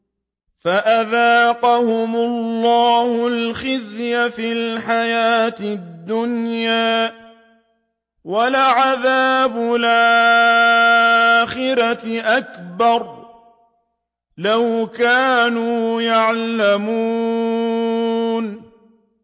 فَأَذَاقَهُمُ اللَّهُ الْخِزْيَ فِي الْحَيَاةِ الدُّنْيَا ۖ وَلَعَذَابُ الْآخِرَةِ أَكْبَرُ ۚ لَوْ كَانُوا يَعْلَمُونَ